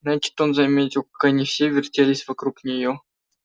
значит он заметил как они все вертелись вокруг неё